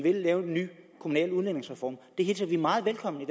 vil lave en ny kommunal udligningsreform det hilser vi meget velkommen i